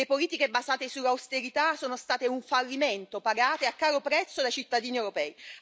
Le politiche basate sull'austerità sono state un fallimento pagato a caro prezzo dai cittadini europei.